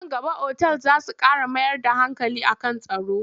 Nan gaba otal za su ƙara mayar da hankali a kan tsaro.